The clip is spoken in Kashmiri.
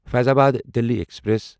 فیضآباد دِلی ایکسپریس